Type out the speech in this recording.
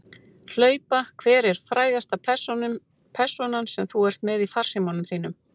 Hlaupa Hver er frægasta persónan sem þú ert með í farsímanum þínum?